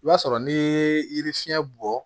I b'a sɔrɔ n'i ye yiri fiɲɛ bɔ